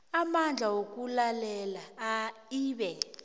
amandla wokulalela ibe